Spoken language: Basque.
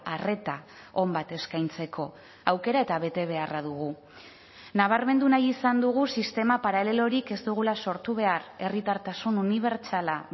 arreta on bat eskaintzeko aukera eta betebeharra dugu nabarmendu nahi izan dugu sistema paralelorik ez dugula sortu behar herritartasun unibertsala